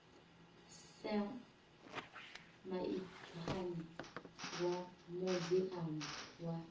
sam maitswane vha muziamu wa